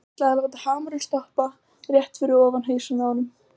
Ég ætlaði að láta hamarinn stoppa rétt fyrir ofan hausinn á honum.